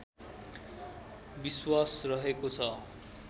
विश्वास रहेको छ